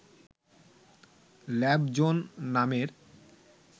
lab zone নামের